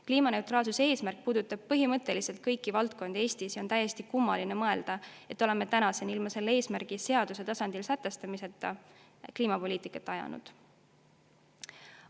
Kliimaneutraalsuse eesmärk puudutab põhimõtteliselt kõiki valdkondi Eestis ja on täiesti kummaline mõelda, et oleme tänaseni ilma selle eesmärgi seaduse tasandil sätestamiseta kliimapoliitikat ajanud.